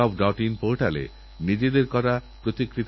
ডাক্তারি ভাষায় একে অ্যান্টিবায়োটিক রেজিস্ট্যান্স বলে